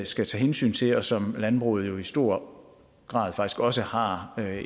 skal tage hensyn til og som landbruget jo i stor grad faktisk også har